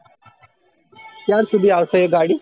ક્યાર શુંધી આવશે એ ગાડી